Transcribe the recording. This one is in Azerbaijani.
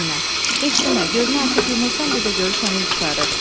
Səkinə, heç demə, gözünü açıb yumursan bir də görürsən il qurtarır.